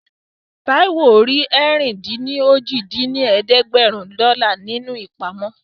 Táíwò rí ẹ̀rin-dín-ní-ojì dín ní ẹ̀ẹ́dẹ́gbẹ́rún dọ́là nínú ìpamọ́